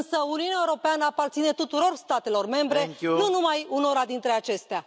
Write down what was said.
Însă Uniunea Europeană aparține tuturor statelor membre, nu numai unora dintre acestea.